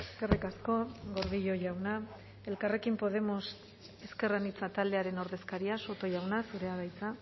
eskerrik asko gordillo jauna elkarrekin podemos ezker anitza taldearen ordezkaria soto jauna zurea da hitza